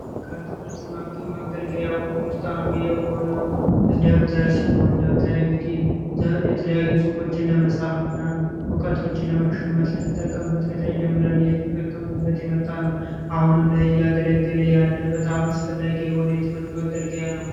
ከትምህርት መማሪያ መገልገያዎች ውስጥ አንዱ የሆነው ደብተር ነው ይህ እንግዲህ የተለያዩ ፅሁፎችን ለመጻፍ እና እውቀቶችን ለመሸመት የምንጠቀምበት ከታች ጀምረን እየተጠቀምንበት የመጣነው አሁንም ላይ እያገለገለ ያለ በጣም አስፈላጊ የሆነ የትምህርት መገልገያ ነው።